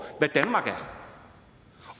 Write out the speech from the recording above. hvad danmark er